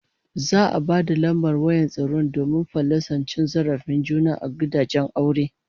Za'a ba da lambar wayar tsaro domin fallasa cin zarafin juna a gidajen aure